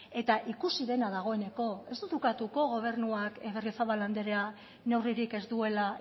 eta ikusi dena dagoeneko ez dut ukatuko gobernuak berriozabal andrea neurririk ez duela